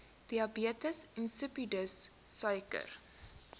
diabetes insipidus suiker